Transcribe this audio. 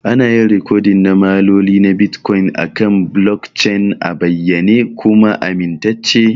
Ana yin rikodin ma'amaloli na Bitcoin akan blockchain a bayyane kuma amintacce.